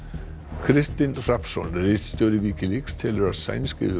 Kristinn Hrafnsson ritstjóri Wikileaks telur að sænsk yfirvöld